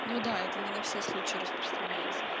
ну да это не на все случаи распространяется